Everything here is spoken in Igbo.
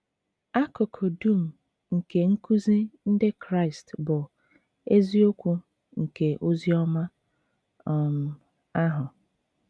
Akụkụ dum nke nkuzi Ndị Kraịst bụ “ eziokwu nke ozi ọma um ahụ. ”